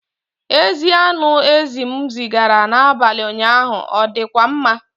Ezi anụ ezi m zigara n'abalị ụnyaahụ ọ dịkwa mma?